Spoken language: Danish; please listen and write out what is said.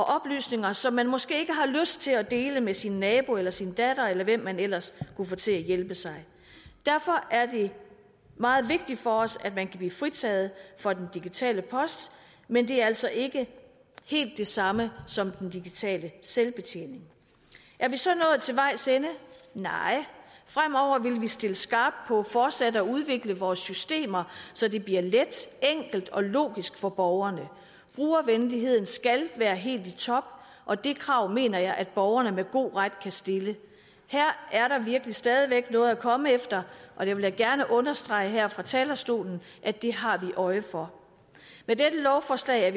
oplysninger som man måske ikke har lyst til at dele med sin nabo eller sin datter eller hvem man ellers kunne få til at hjælpe sig derfor er det meget vigtigt for os at man kan blive fritaget for den digitale post men det er altså ikke helt det samme som den digitale selvbetjening er vi så nået til vejs ende nej fremover vil vi stille skarpt på fortsat at udvikle vores systemer så det bliver let enkelt og logisk for borgerne brugervenligheden skal være helt i top og det krav mener jeg at borgerne med god ret kan stille her er der virkelig stadig væk noget at komme efter og jeg vil gerne understrege her fra talerstolen at det har vi øje for dette lovforslag er